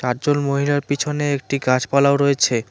মহিলার পিছনে একটি গাছপালাও রয়েছে।